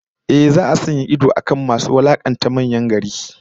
Ehh, za'a sanya idon akan masu wulakanta manyan gari